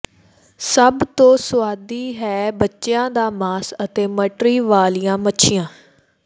ਸਭ ਤੋਂ ਸੁਆਦੀ ਹੈ ਬੱਚਿਆਂ ਦਾ ਮਾਸ ਅਤੇ ਮਟਰੀ ਵਾਲੀਆਂ ਮੱਛੀਆਂ